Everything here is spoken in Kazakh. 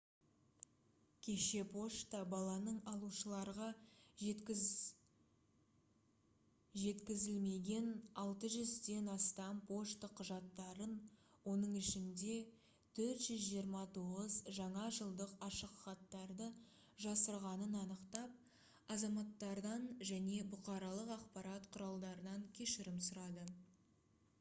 кеше пошта баланың алушыларға жеткізілмеген 600-ден астам пошта құжаттарын оның ішінде 429 жаңа жылдық ашықхаттарды жасырғанын анықтап азаматтардан және бұқаралық ақпарат құралдарынан кешірім сұрады